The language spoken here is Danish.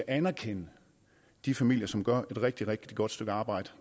at anerkende de familier som gør et rigtig rigtig godt stykke arbejde